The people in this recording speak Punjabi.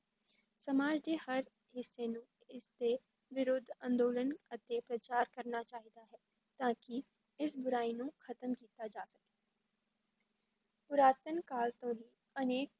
ਸਮਾਜ ਦੇ ਹਰ ਹਿੱਸੇ ਨੂੰ ਇਸ ਦੇ ਵਿਰੁੱਧ ਅੰਦੋਲਨ ਅਤੇ ਪ੍ਰਚਾਰ ਕਰਨਾ ਚਾਹੀਦਾ ਹੈ ਤਾਂ ਕਿ ਇਸ ਬੁਰਾਈ ਨੂੰ ਖਤਮ ਕੀਤਾ ਜਾ ਸਕੇ ਪੁਰਾਤਨ ਕਾਲ ਤੋਂ ਹੀ ਅਨੇਕ